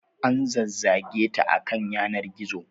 An zazzage ta a kan yanar gizo.